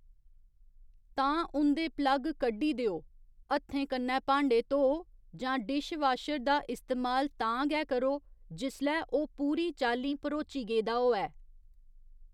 तां उं'दे प्लग कड्डी देओ, हत्थें कन्नै भांडे धोओ जां डिशवाशर दा इस्तेमाल तां गै करो जिसलै ओह्‌‌ पूरी चालीं भरोची गेदा होऐ।